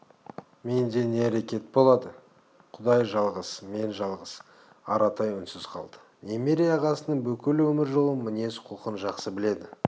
менде не әрекет болады құдай жалғыз мен жалғыз аратай үнсіз қалды немере ағасының бүкіл өмір жолын мінез-құлқын жақсы біледі